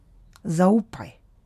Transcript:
Zaupaj!